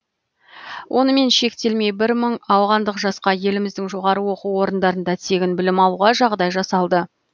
онымен шектелмей бір мың ауғандық жасқа еліміздің жоғары оқу орындарында тегін білім алуға жағдай жасалды